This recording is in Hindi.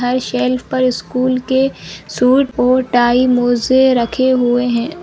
हर सेल्फ पर स्कूल के शूट बूट टाई मोज़े रखे हुए है।